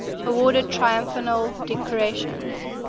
awarded triumphal decorations